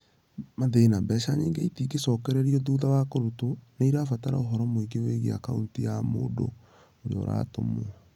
Mathĩna: Mbeca nyingĩ, itingĩcokererio thutha wa kũrutwo, nĩ irabatara ũhoro mũingĩ wĩgiĩ akaunti ya mũndũ ũrĩa ũratũmwo